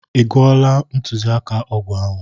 A gụọla m ntụziaka ọgwụ ahụ.